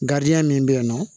Gariya min be yen nɔ